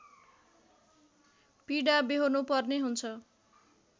पीडा व्यहोर्नु पर्ने हुन्छ